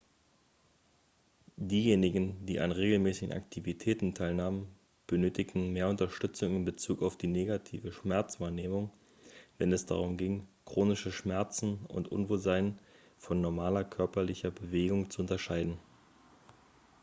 diejenigen die an regelmäßigen aktivitäten teilnahmen benötigten mehr unterstützung in bezug auf die negative schmerzwahrnehmung wenn es darum ging chronische schmerzen und unwohlsein von normaler körperlicher bewegung zu unterscheiden